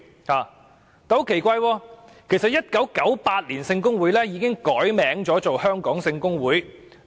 很奇怪，其實，"英語聖公會"在1998年已經改稱"香港聖公會"。